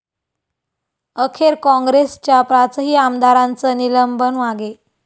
अखेर काँग्रेसच्या पाचही आमदारांचं निलंबन मागे